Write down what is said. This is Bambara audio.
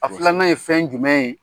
A filan ye fɛn jumɛn ye?